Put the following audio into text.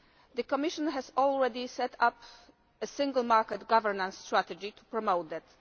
The Commission has already set up a Single Market governance strategy to promote that.